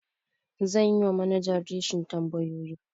Zan yi wa manajan reshin tambayoyi.